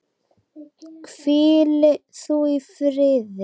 Hvíli þú í friði.